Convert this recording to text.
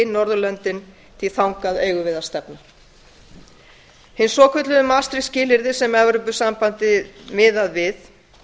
norðurlöndin því þangað eigum við að stefna hin svokölluðu maastricht skilyrði sem evrópusambandi miðar við